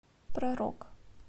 про рок